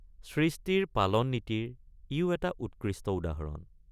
সৃষ্টিৰ পালননীতিৰ ইয়ো এটা উৎকৃষ্ট উদাহৰণ।